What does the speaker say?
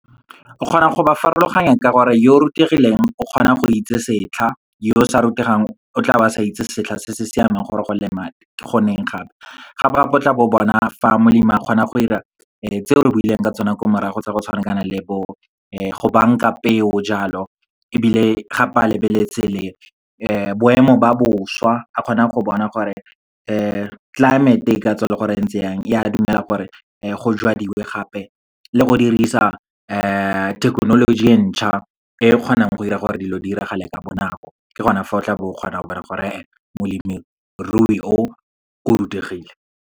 O kgona go ba farologanya ka gore yo rutegileng o kgona go itse setlha, yo sa rutegang o tla ba sa itse setlha se se siameng gore go leema ke goneng gape. Ga ba tlotla bo bona fa molemi a kgona go 'ira tseo re buileng ka tsona ko morago, tsa go tshwana kana le bo go banka peo jalo. Ebile gape, ha ba lebeletse boemo ba boswa, ba kgona go bona gore climate e ka tswa e le goreng e ntse yang, ya dumela gore go jwadiwe gape le go dirisa thekenoloji e ntšha, e kgonang go dira gore dilo di diragale ka bonako. Ke gona fa o tla bo o kgona gore e e molemirui o, o rutegile.